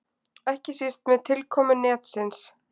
Ekki síst með tilkomu netsins.